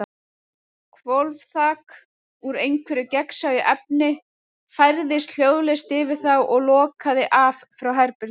Hvolfþak, úr einhverju gagnsæju efni, færðist hljóðlaust yfir þá og lokaði af frá herberginu.